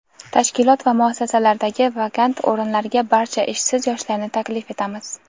tashkilot va muassasalaridagi vakant o‘rinlarga barcha ishsiz yoshlarni taklif etamiz.